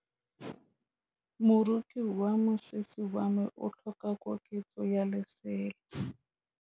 Moroki wa mosese wa me o tlhoka koketsô ya lesela.